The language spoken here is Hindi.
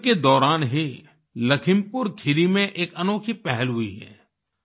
कोविड के दौरान ही लखीमपुर खीरी में एक अनोखी पहल हुई है